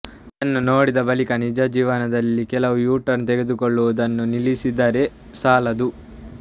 ಇದನ್ನು ನೋಡಿದ ಬಳಿಕ ನಿಜ ಜೀವನದಲ್ಲಿ ಕೇವಲ ಯುಟರ್ನ್ ತೆಗೆದುಕೊಳ್ಳೋದನ್ನು ನಿಲ್ಲಿಸಿದರೆ ಸಾಲದು